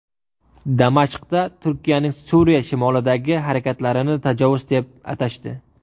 Damashqda Turkiyaning Suriya shimolidagi harakatlarini tajovuz deb atashdi.